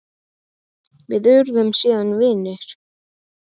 Við urðum síðan vinir.